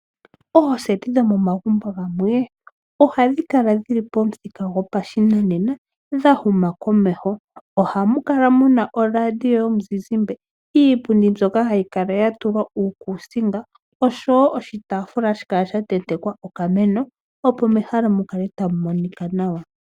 Ooseti dhomo magumbo gamwe ohadhi kala dhili pomuthika gopashinanena dha huma komeho. Ohamu kala muna oradio yomuzizimba, iipundi mbyoka hayi kala ya tulwa uukusinga noshitafula hashi kala sha tentekwa okameno opo mehala mukale tamu monika nawa.